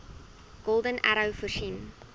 golden arrow voorsien